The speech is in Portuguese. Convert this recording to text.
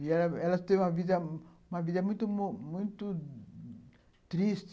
E ela ela teve uma vida uma vida muito muito triste.